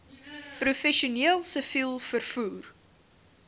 professioneel siviel vervoer